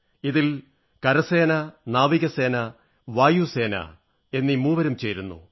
ഇതിൽ സൈന്യം നാവികസേന വായുസേന എന്നീ മൂവരും ചേരുന്നു